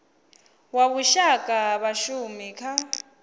wa vhushaka ha vhashumi kha